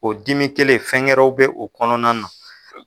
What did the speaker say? O dimi kelen fɛn gɛrɛw bɛ u kɔnɔna na.